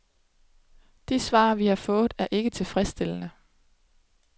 De svar, vi har fået, er ikke tilfredsstillende.